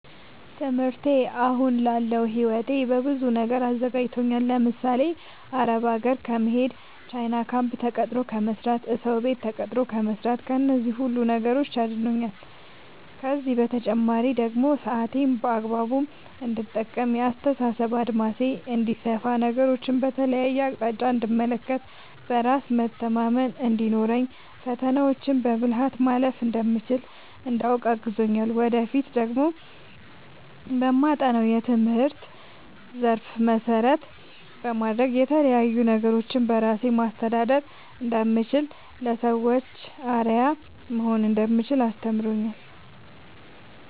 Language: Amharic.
ትምህርቴ አሁን ላለው ህይወቴ በብዙ ነገር አዘጋጅቶኛል። ለምሳሌ፦ አረብ ሀገር ከመሄድ፣ ቻይና ካምፕ ተቀጥሮ ከመስራት፣ እሰው ቤት ተቀጥሮ ከመስራት ከነዚህ ሁሉ ነገሮች አድኖኛል። ከእነዚህ በተጨማሪ ደግሞ ሰአቴን በአግባቡ እንድጠቀም፣ የአስተሳሰብ አድማሴ እንዲሰፋ፣ ነገሮችን በተለያየ አቅጣጫ እንድመለከት፣ በራስ መተማመን እንዲኖረኝ፣ ፈተናዎችን በብልሀት ማለፍ እንደምችል እንዳውቅ አግዞኛል። ወደፊት ደግሞ በማጠናው የትምህርት ዘርፍ መሰረት በማድረግ የተለያዪ ነገሮችን በራሴ ማስተዳደር እንደምችል፣ ለሰዎች አርአያ መሆን እንደምችል አስተምሮኛል።